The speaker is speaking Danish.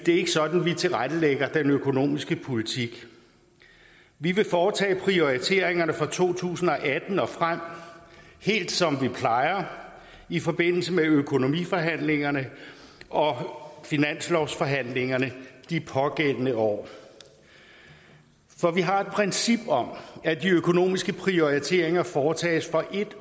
ikke sådan vi tilrettelægger den økonomiske politik vi vil foretage prioriteringerne for to tusind og atten og frem helt som vi plejer i forbindelse med økonomiforhandlingerne og finanslovsforhandlingerne de pågældende år for vi har et princip om at de økonomiske prioriteringer foretages for en